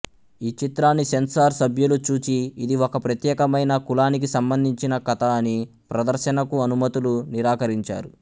ఈ చిత్రాన్ని సెన్సార్ సభ్యులు చూచి ఇది ఒక ప్రత్యేకమైన కులానికి సంబంధించిన కథ అని ప్రదర్శనకు అనుమతులు నిరాకరించారు